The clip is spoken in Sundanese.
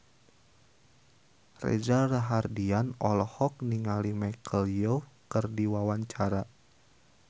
Reza Rahardian olohok ningali Michelle Yeoh keur diwawancara